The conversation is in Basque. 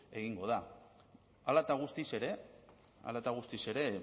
egingo da hala eta guztiz ere hala eta guztiz ere